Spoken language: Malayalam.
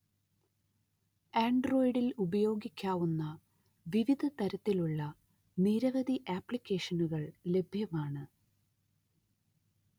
ആൻഡ്രോയ്ഡിൽ ഉപയോഗിക്കാവുന്ന വിവിധതരത്തിലുള്ള നിരവധി ആപ്ലിക്കേഷനുകൾ ലഭ്യമാണ്